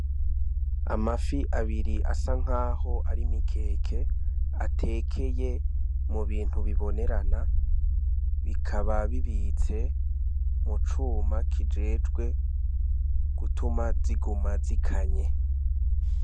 Amafi abiri asa nk'aho ari mikeke atekeye mu bintu bibonerana bikababibitse mucuma kijejwe gutuma ziguma zikanye.